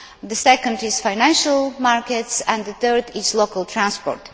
The second is financial markets, and the third is local transport.